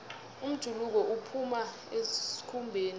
umjuluko uphuma esikhumbeni